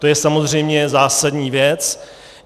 To je samozřejmě zásadní věc.